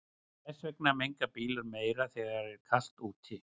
Þess vegna menga bílar meira þegar er kalt úti.